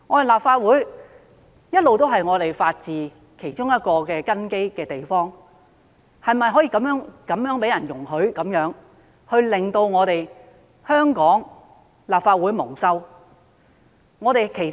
立法會一直都是法治其中一個根基，我們是否可以容許他人這樣做，而致令香港立法會蒙羞？